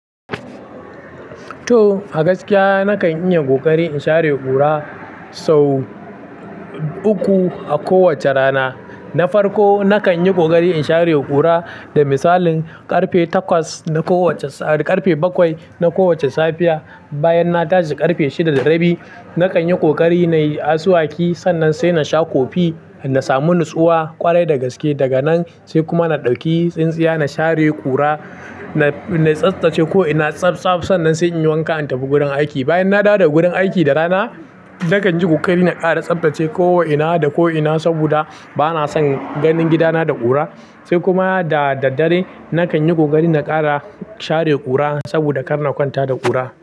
To, a gaskiya na kan yi ƙoƙari in share ƙura sau uku a kowace rana. Na farko, na kan yi ƙoƙari in share ƙura, da misali, ƙarfe takwas na kowace, ƙarfe bakwai na kowace safiya. Bayan na dace ƙarfe shida da rabi, na kan yi kokari na yi asuwaki sannan sai na sha kofi in na samu nutsuwa ƙwarai da gaske. Daga nan sai kuma na ɗauki tsintsiya na share ƙura, na, na tsaftace ko'ina tsaftsaf sannan sai in yi wanka in tafi gurin aiki. Bayan na dawo daga gurin aiki da rana, na kan yi ƙoƙari na ƙara tsaftace ko'ina da ko'ina saboda ba na son ganin gidana da ƙura. Sai kuma da daddare na kan yi ƙoƙari na ƙara share ƙura saboda kar na kwanta da ƙura.